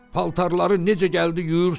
Paltarları necə gəldi yuyursuz?